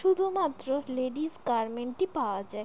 শুধুমাত্র ladies garment -ই পাওয়া যায়।